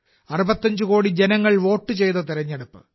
65 കോടി ജനങ്ങൾ വോട്ട് ചെയ്ത തെരഞ്ഞെടുപ്പ്